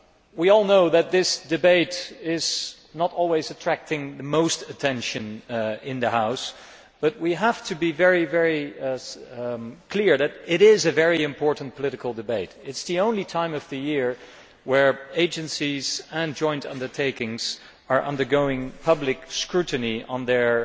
We all know that this debate does not always attract the most attention in the House, but we have to be very clear that it is a very important political debate. It is the only time of the year when agencies and joint undertakings undergo public scrutiny of their